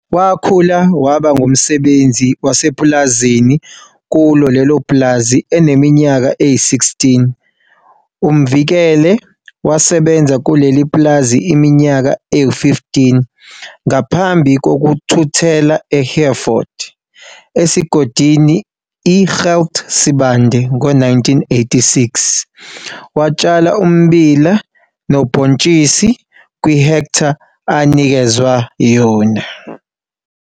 Wakhula waba ngumsebenzi wasepulazini kulo lelo pulazi eneminyaka eyi-16. UMvikele wasebenza kuleli pulazi iminyaka eyi-15 ngaphambi kokuthuthela eHereford, esigodini i-Gert Sibande, ngo-1986. Watshala ummbila nobhontshisi kwi-hektha anikezwe yona.